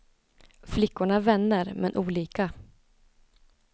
Flickorna är vänner, men olika.